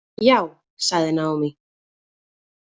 Já, sagði Naomi.